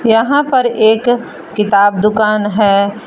यहां पर एक किताब दुकान है।